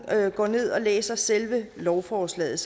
går ned og læser selve lovforslaget